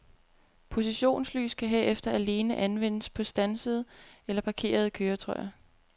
Positionslys kan herefter alene anvendes på standsede eller parkerede køretøjer.